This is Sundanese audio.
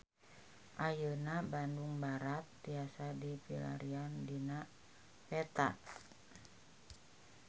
Ayeuna Bandung Barat tiasa dipilarian dina peta